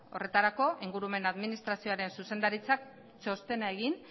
horretako ingurumen administrazioaren zuzendaritzak txostena egin